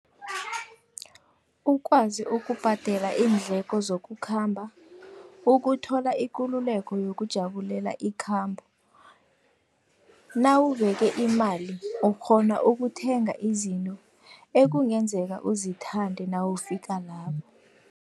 Ukwazi ukubhadela iindleko zokukhamba, ukuthola ikululeko yokujabulela ikhambo. Nawubeke imali ukghona ukuthenga izinto ekungenzeka uzithande nawufika lapho.